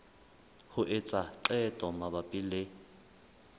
ho etsa qeto mabapi le